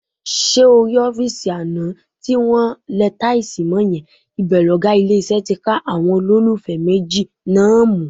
Ṣé o rọ́fíìsì àná tí wọn lẹ táìsì mọ́ yẹn, ibẹ̀ lọ̀gá ilé-iṣẹ́ ti ká àwọn olólùfẹ́ méjì náà mú.